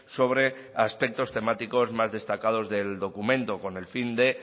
sobre aspectos temáticos más destacados del documento con el fin de